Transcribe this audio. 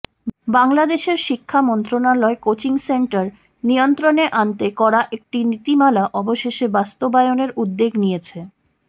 বাংলাদেশের শিক্ষা মন্ত্রণালয় কোচিং সেন্টার নিয়ন্ত্রণে আনতে করা একটি নীতিমালা অবশেষে বাস্তবায়নের উদ্যোগ নিয়েছে